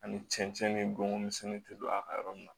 Ani cɛncɛn ni bɔn misɛnnin tɛ don a ka yɔrɔ min na